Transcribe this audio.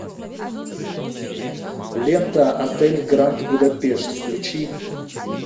лента отель гранд будапешт включи